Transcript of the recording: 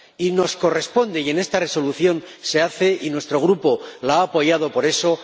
Y nos corresponde hacerlo, y en esta Resolución se hace y nuestro Grupo la ha apoyado por eso.